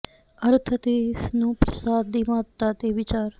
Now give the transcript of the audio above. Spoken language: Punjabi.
ਅਰਥ ਅਤੇ ਇਸ ਨੂੰ ਪਰਸਾਦ ਦੀ ਮਹੱਤਤਾ ਤੇ ਵਿਚਾਰ